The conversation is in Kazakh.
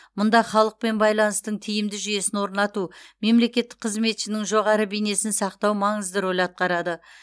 мұнда халықпен байланыстың тиімді жүйесін орнату мемлекеттік қызметшінің жоғары бейнесін сақтау маңызды рөл атқарады